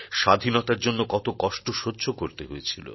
স্বাধীনতার জন্য কত কষ্ট সহ্য করতে হয়েছিল